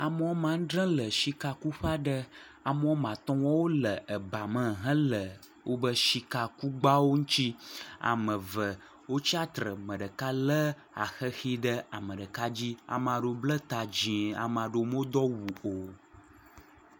Ame woame andre le shika kuƒe ame woame atɔ̃ le bame ame eve le le tsitre eye ame ɖeka lé xexi ɖe ame ɖeka dzi ame aɖewo bla ta dzi eye ame ɖewo medo awu o.